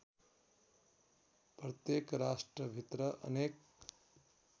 प्रत्येक राष्ट्रभित्र अनेक